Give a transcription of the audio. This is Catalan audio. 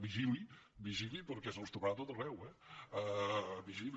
vigili vigili perquè se’ls trobarà a tot arreu eh vigili